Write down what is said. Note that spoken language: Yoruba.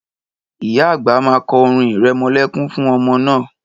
Ìyá àgbà ma kọ orin irẹmọlẹ́kún fún ọmọ náà